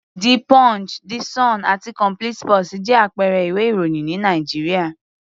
The Punch, The Sun àti Complete sports jẹ́ àpẹẹrẹ ìwé-ìròyìn ní Nàìjíríà.